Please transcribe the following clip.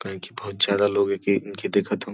कही से बहुत ज्यादा लोग एके इनके देखत हउ --